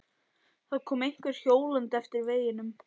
Það kom einhver hjólandi eftir veginum.